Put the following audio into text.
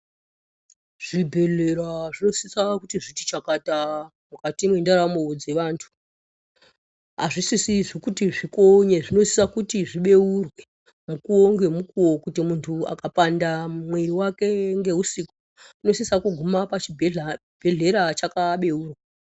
Zvibhedhleya zvinosisa kuti zvichakata mukati mwendaramo dzevantu. Azvisisi kuti zvikonye zvinosisa zvibeurwe mukuwo ngemukuwo kuti muntu akapanda mwiri wake ngousiku unosisa kuguma chibhedhleya chakabeurwa.